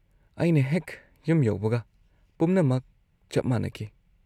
ꯑꯩꯅ ꯍꯦꯛ ꯌꯨꯝ ꯌꯧꯕꯒ ꯄꯨꯝꯅꯃꯛ ꯆꯞ ꯃꯥꯟꯅꯈꯤ꯫